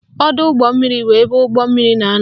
Ọdọụgbọmmiri bụ ebe ụgbọmmiri na-anọ